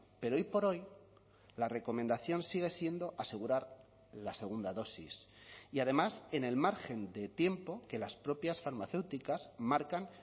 pero hoy por hoy la recomendación sigue siendo asegurar la segunda dosis y además en el margen de tiempo que las propias farmacéuticas marcan